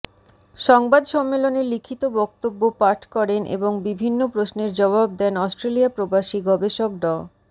সংবাদ সম্মেলনে লিখিত বক্তব্য পাঠ করেন এবং বিভিন্ন প্রশ্নের জবাব দেন অস্ট্রেলিয়াপ্রবাসী গবেষক ড